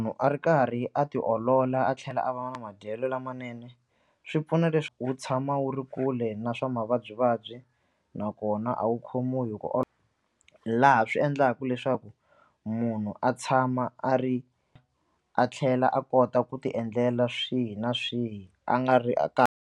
A ri karhi a tiolola a tlhela a va na madyelo lamanene swi pfuna leswi wu tshama wu ri kule na swa mavabyivabyi nakona a wu khomiwi hi ku laha swi endlaka leswaku munhu a tshama a ri a tlhela a kota ku tiendlela swihi na swihi a nga ri .